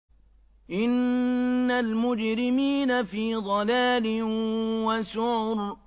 إِنَّ الْمُجْرِمِينَ فِي ضَلَالٍ وَسُعُرٍ